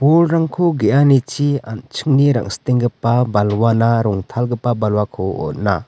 bolrangko ge·anichi an·chingni rang·sitenggipa balwana rongtalgipa balwako on·a.